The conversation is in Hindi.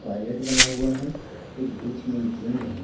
टॉयलेट बना हुआ है एक बीच में एक गेंद है।